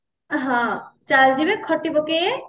ହଁ ଚାଲ ଯିବେ ଖଟି ପକେଇବେ